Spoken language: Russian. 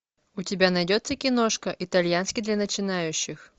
у тебя найдется киношка итальянский для начинающих